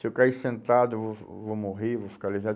Se eu cair sentado, eu vou, vou morrer, vou ficar lesado.